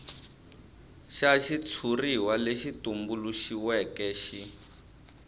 xa xitshuriwa lexi tumbuluxiweke xi